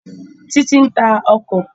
Títí ń ta ọkọ̀